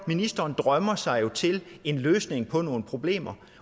ministeren drømmer sig jo til en løsning på nogle problemer